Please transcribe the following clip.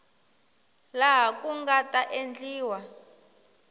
laha ku nga ta endliwa